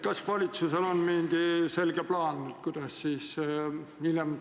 Kas valitsusel on mingi selge plaan, kuidas seda ohtu ära hoida?